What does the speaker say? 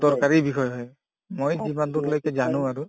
দৰকাৰী বিষয় হয় মই যিমান দূৰলৈকে জানো আৰু